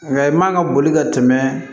Nga i man ka boli ka tɛmɛ